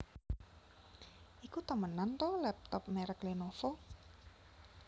Iku temenan ta laptop merek Lenovo?